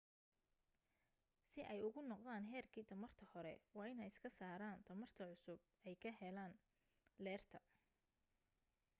si ay ugu noqdaan heerki tamarta hore waa in ay iska saaran tamarta cusub ay ka heleen leerka